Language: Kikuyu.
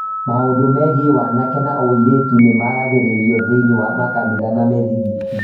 Maũndũ megiĩ wanake na ũirĩtu nĩ maragĩrĩrio thĩinĩ wa makanitha na mĩthigiti.